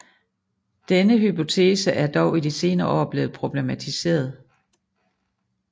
Denne hypotese er dog i de senere år blevet problematiseret